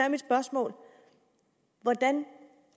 hvordan